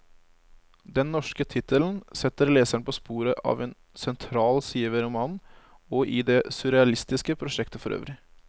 Den norske tittelen setter leseren på sporet av en sentral side ved romanen, og i det surrealistiske prosjektet forøvrig.